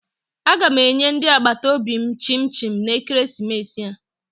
Aga m enye ndị agbataobi m chim chim na ekeresimesi a